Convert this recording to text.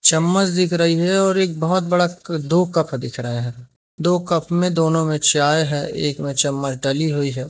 चम्मच दिख रही है और एक बहोत बड़ा दो कप दिख रहा है दो कप में दोनों में चाय है एक में चम्मच डली हुई है।